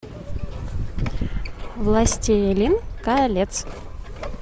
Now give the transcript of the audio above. властелин колец